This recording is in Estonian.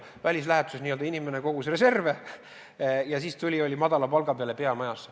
Välislähetuses inimene n-ö kogus reserve ja siis tuli peamajja ja oli madala palga peal.